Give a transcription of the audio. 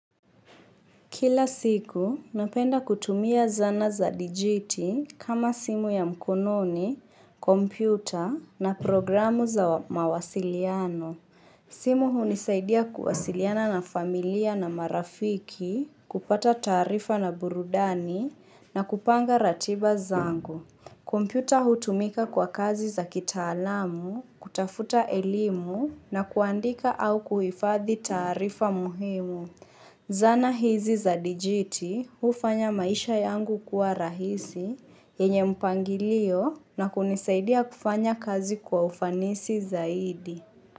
Kila siku, napenda kutumia zaana za dijiti kama simu ya mkononi, kompyuta na programu za mawasiliano. Simu hunisaidia kuwasiliana na familia na marafiki, kupata taarifa na burudani na kupanga ratiba zangu. Kompyuta hutumika kwa kazi za kitaalamu, kutafuta elimu na kuandika au kuhifadhi taarifa muhimu. Zaana hizi za digiti hufanya maisha yangu kuwa rahisi, yenye mpangilio na kunisaidia kufanya kazi kwa ufanisi zaidi.